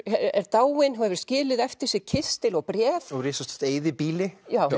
er dáinn og hefur skilið eftir sig kistil og bréf og risastórt eyðibýli